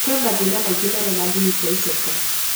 Kwĩ mathĩna maingĩ marĩa mangĩhutia icoka.